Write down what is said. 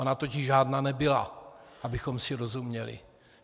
Ona totiž žádná nebyla, abychom si rozuměli.